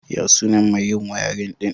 Ya sunan mai yin wiring ɗin?